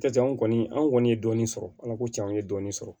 Cɛncɛn kɔni an kɔni ye dɔɔnin sɔrɔ ala ko cɛn an ye dɔɔnin sɔrɔ